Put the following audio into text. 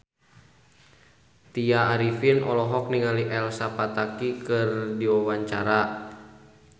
Tya Arifin olohok ningali Elsa Pataky keur diwawancara